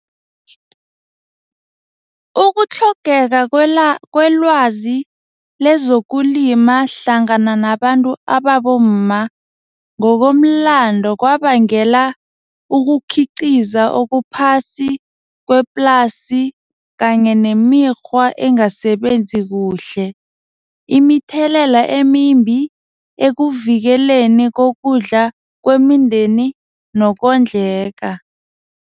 Ukutlhogeka kwelwazi lezokulima hlangana nabantu ababomma ngokomlando kwabangela ukukhiqiza okuphasi kweplasi kanye nemikghwa engasebenzi kuhle imithelelela emimbi ekuvikeleni kokudla kwemindeni nokondleka.